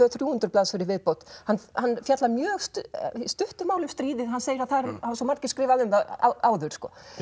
til þrjú hundruð blaðsíður í viðbót hann fjallar í mjög stuttu máli um stríðið hann segir að það hafi svo margir skrifað um það áður